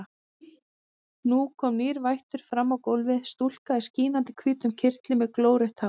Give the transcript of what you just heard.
Nú kom nýr vættur fram á gólfið, stúlka í skínandi hvítum kyrtli með glórautt hár.